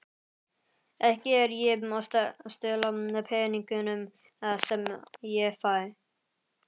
Ekki er ég að stela peningunum sem ég fæ.